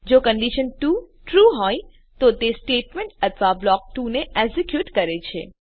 જો condition 2 true હોય તો તે સ્ટેટમેંટ અથવા બ્લોક ૨ ને એક્ઝેક્યુટ કરે છે